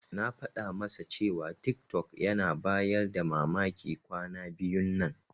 Na faɗa masa cewa tiktok yana bayar da mamaki kwana biyun nan.